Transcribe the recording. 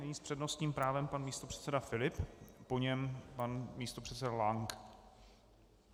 Nyní s přednostním právem pan místopředseda Filip, po něm pan místopředseda Lank.